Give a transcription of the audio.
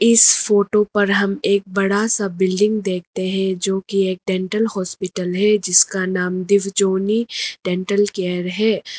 इस फोटो पर हम एक बड़ा सा बिल्डिंग देखते हैं जो की एक डेंटल हॉस्पिटल है जिसका नाम दिवजॉनी डेंटल केयर है।